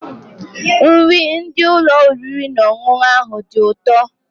Nri ndị ụlọ oriri na ọṅụṅụ ahụ dị ụtọ.